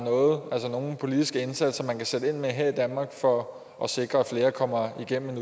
nogle politiske indsatser man kan sætte ind med her i danmark for at sikre at flere kommer igennem